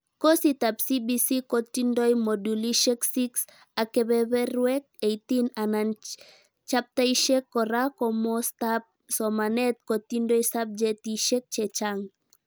Kositab CBC kotindoi modulishek 6 ak kebeberwek 18 anan chaptaishek kora komostaab somanet kotindoi subjetishek chechang